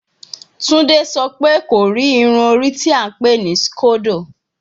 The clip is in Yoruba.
Tunde sọ pe ko ri irun ori ti a npè ni scodo